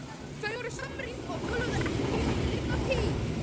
Þau voru samrýnd og töluðu ekki um liðna tíð.